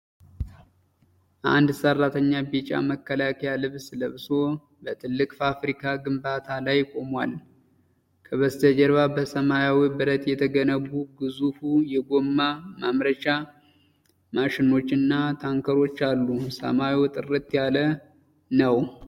አንድ ሰራተኛ ቢጫ መከላከያ ልብስ ለብሶ በትልቅ ፋብሪካ ግንባታ ላይ ቆሟል። ከበስተጀርባ በሰማያዊ ብረት የተገነቡ ግዙፍ የጎማ ማምረቻ ማሽኖችና ታንከሮች አሉ። ሰማዩ ጥርት ያለ ነው።